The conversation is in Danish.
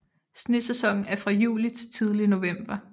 Snesæsonen er fra juli til tidlig november